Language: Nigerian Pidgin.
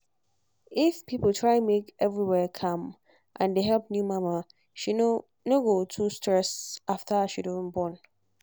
if people try make everywhere calm and dey help new mama she no no go too get stress after she don born